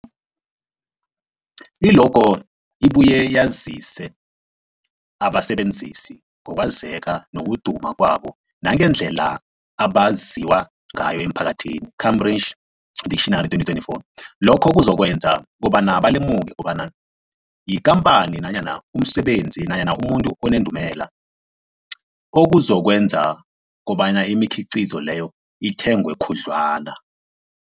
I-logo ibuye yazise abasebenzisi ngokwazeka nokuduma kwabo nangendlela abaziwa ngayo emphakathini, Cambridge Dictionary 2024. Lokho kuzokwenza kobana balemuke kobana yikhamphani nanyana umsebenzi nanyana umuntu onendumela, okuzokwenza kobana imikhiqhizo leyo ithengwe khudlwana.